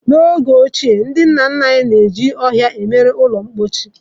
N'oge ochie, ndị nna nna anyị na-eji ọhịa eme ụlọ mposi.